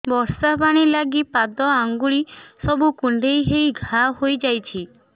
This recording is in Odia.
ବର୍ଷା ପାଣି ଲାଗି ପାଦ ଅଙ୍ଗୁଳି ସବୁ କୁଣ୍ଡେଇ ହେଇ ଘା ହୋଇଯାଉଛି